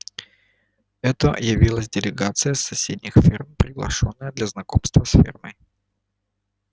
это явилась делегация с соседних ферм приглашённая для знакомства с фермой